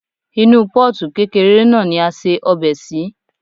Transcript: Inú Pọ́ọ̀tù kékeré náà ni a se ọbẹ̀ sí.